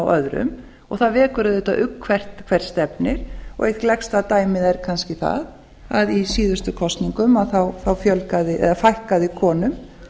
öðrum og það vekur auðvitað ugg um hvert stefnir eitt gleggsta dæmið er kannski það að í síðustu kosningum fækkaði konum